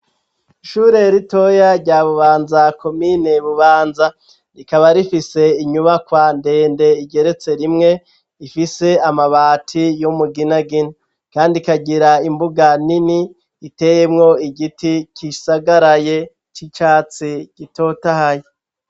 Ishure ritoya rya bubanza komine bubanza rikaba rifise inyubakwa ndende igeretse rimwe ifise amabati yo muginagina, kandi ikagira imbuga nini iteyemwo igiti kisagaraye c'icatsi gitotahaye.